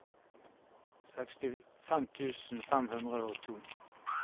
sekstifem tusen fem hundre og to